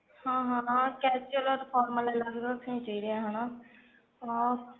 ਹਾਂ ਹਾਂ casual or formal ਅਲੱਗ ਅਲੱਗ ਰੱਖਣੇ ਚਾਹੀਦੇ ਆ ਹਨਾ ਹਾਂ